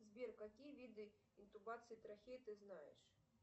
сбер какие виды интубации трахеи ты знаешь